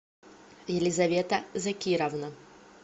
елизавета закировна